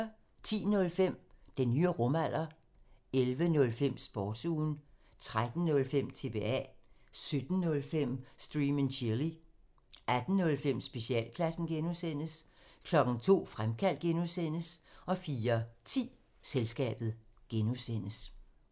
10:05: Den nye rumalder 11:05: Sportsugen 13:05: TBA 17:05: Stream and chill 18:05: Specialklassen (G) 02:00: Fremkaldt (G) 04:10: Selskabet (G)